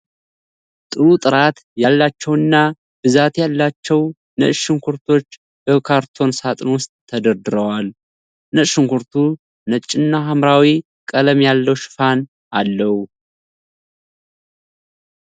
ጥሩ ጥራት ያላቸውና ብዛት ያላቸው ነጭ ሽንኩርቶች በካርቶን ሣጥን ውስጥ ተደርድረዋል ። ነጭ ሽንኩርቱ ነጭና ሐምራዊ ቀለም ያለው ሽፋን አለው።